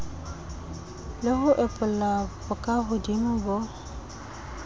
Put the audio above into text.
le ho epolla bokahodimo bo